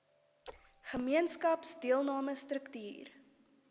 gemeenskaps deelname struktuur